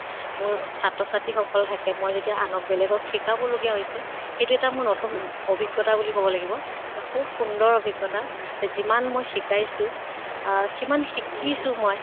মোৰ ছাত্ৰ ছাত্ৰী সকল থাকে, মই যেতিয়া আনক বেলেগক শিকাব লগিয়া হৈছে সেইটো এটা মোৰ নতুন অভিজ্ঞ্তা বুলি কʼব লাগিব। খুব সুন্দৰ অভিজ্ঞ্তা। যিমান মই শিকাইছো আহ সিমান শিকিছো মই।